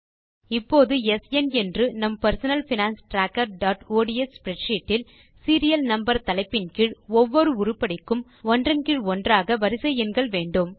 இப்போது ஸ்ன் என்று நம் பெர்சனல் பைனான்ஸ் trackerஒட்ஸ் ஸ்ப்ரெட்ஷீட் இல் சீரியல் நம்பர் தலைப்பின் கீழ் ஒவ்வொரு உருப்படிக்கும் ஒன்றன் கீழ் ஒன்றாக வரிசை எண்கள் வேண்டும்